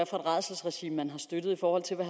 rædselsregime man har støttet